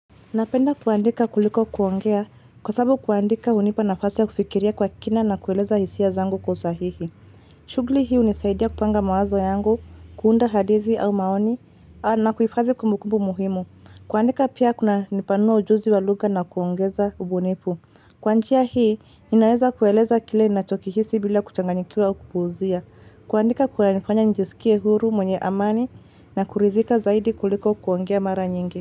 Napenda kuandika kuliko kuongea kwa sababu kuandika unipa nafasi ya kufikiria kwa kina na kueleza hisia zangu kwa usahihi. Shughuli hii hunisaidia kupanga mawazo yangu, kuunda hadithi au maoni na kuhifadhi kumbukumbu muhimu. Kuandika pia kunanipanua ujuzi wa lugha na kuongeza ubunifu. Kwa njia hii, ninaweza kueleza kile ninachokihisi bila kuchanganyikiwa au kupuzia. Kuandika kunanifanya njisikie huru mwenye amani na kuridhika zaidi kuliko kuongea mara nyingi.